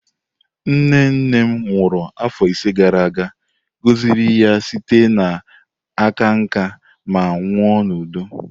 Nne nne m nwụrụ afọ ise gara aga, gọziri ya site n'aka nká ma nwụọ n'udo.